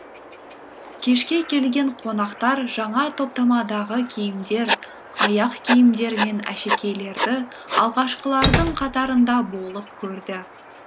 кешке келген қонақтар жаңа топтамадағы киімдер аяқ киімдер мен әшекейлерді алғашқылардың қатарында болып көрді